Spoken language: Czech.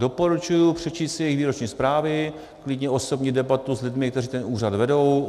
Doporučuji přečíst si jejich výroční zprávy, klidně osobní debatu s lidmi, kteří ten úřad vedou.